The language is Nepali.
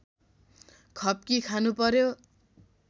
खप्की खानुपर्‍यो